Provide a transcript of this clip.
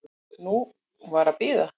Nú var að bíða.